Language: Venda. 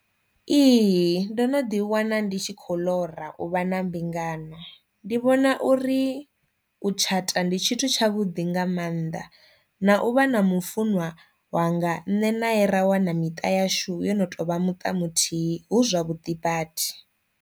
Ihi ndo no ḓi wana ndi tshi khou ḽora u vha na mbingano, ndi vhona uri u tshata ndi tshithu tsha vhuḓi nga mannḓa na u vha na mufuṅwa wanga nṋe nae ra wana miṱa yashu yo no tou vha muṱa muthihi hu zwavhuḓi badi.